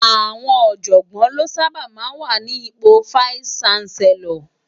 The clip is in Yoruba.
Awòn òjògbòn lò sàbá má wá ni ipó Fáìsí Ṣánsèlòr